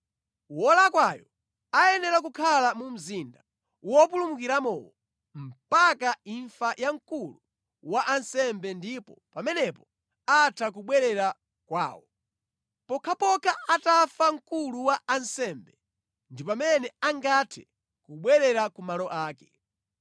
Wolakwayo ayenera kukhala mu mzinda wopulumukiramowo mpaka imfa ya mkulu wa ansembe ndipo pamenepo atha kubwerera kwawo. Pokhapokha atafa mkulu wa ansembe ndi pamene angathe kubwerera ku malo ake.